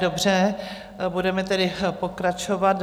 Dobře, budeme tedy pokračovat.